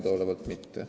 Minu teada mitte.